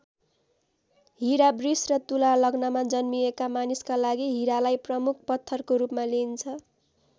हीरा वृष र तुला लग्नमा जन्मिएका मानिसका लागि हीरालाई प्रमुख पत्थरको रूपमा लिइन्छ।